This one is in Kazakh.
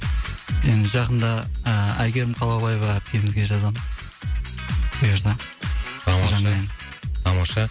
енді жақында ыыы айгерім қалаубаева әпкемізге жазамын бұйырса тамаша жаңа ән тамаша